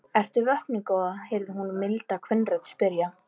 Ertu vöknuð góða? heyrði hún milda kvenrödd spyrja.